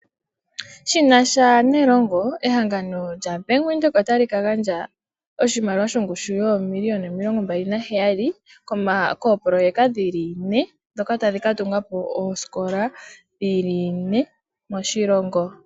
Shinasha nelongo , ehangano lya Bank Widheok otali kagandja oshimaliwa shongushu yoo miliyona 27 kopoloweka dhili nee, dhoka tadhikatunga po oosikola dhili nee moshilongo.